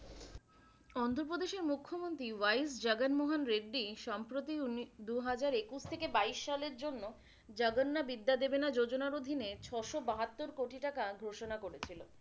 অন্ধ্রপ্রদেশের মুখ্যমন্ত্রী জগনমোহন রেদ্দি সম্প্রতি দুহাজার একুশ থেকে বাইশ সালের জন্য জগন্নাবিদ্যাদেবেনা যোজনার অধীনে ছ'শ বাহাত্তর কোটি টাকা ঘোষনা করেছিল।